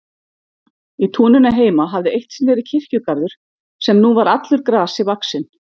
Í túninu heima hafði eitt sinn verið kirkjugarður sem nú var allur grasi vaxinn.